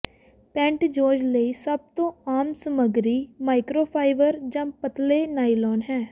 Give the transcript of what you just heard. ਪੈਂਟਯੋਜ਼ ਲਈ ਸਭ ਤੋਂ ਆਮ ਸਮੱਗਰੀ ਮਾਈਕ੍ਰੋਫਾਈਬਰ ਜਾਂ ਪਤਲੇ ਨਾਈਲੋਨ ਹੈ